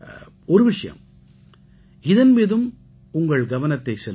ஒரு விஷயம் இதன் மீதும் உங்கள் கவனத்தைச் செலுத்துங்கள்